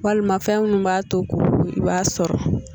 Walima fɛn minnu b'a to [? i b'a sɔrɔ